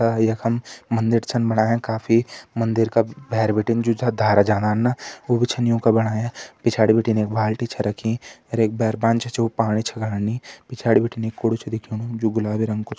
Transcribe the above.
आ यखम मंदिर छन बणाया काफी मंदिर का भैर बिटिन जु छा धारा जान्दन ऊबु छन युंका बणाया पिछाड़ी बिटिन एक बाल्टी छे रखीं अर एक भैर छ उ पाणी छ गाड़नी पिछाड़ी बिटिन एक कूड़ु छ दिखेणु जु गुलाबी रंग कु --